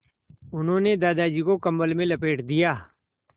उन्होंने दादाजी को कम्बल में लपेट दिया